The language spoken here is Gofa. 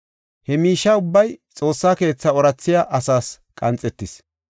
He miishe ubbay Xoossa keetha oorathiya asaas qanxetis.